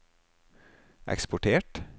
eksportert